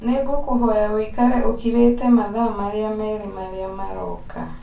Nĩ ngũkũhoya ũikare ũkirĩte mathaa marĩa merĩ marĩa maroka